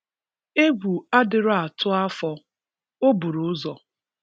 Egwu adirọ atu afọ, ọburu uzọ